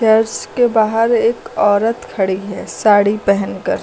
Church के बाहर एक औरत खड़ी है साड़ी पहेनकर।